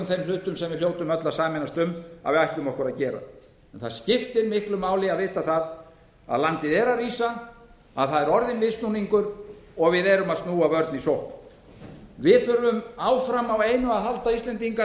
þeim hlutum sem við hljótum öll að sameinast um að við ætlum okkur að gera en það skiptir miklu máli að vita að landið er að rísa að það er orðinn viðsnúningur og að við erum að snúa vörn í sókn við íslendingar þurfum áfram á einu að halda